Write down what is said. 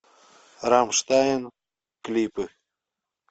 рамштайн клипы